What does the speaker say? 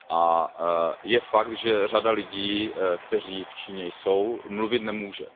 A je fakt, že řada lidí, kteří v Číně jsou, mluvit nemůže.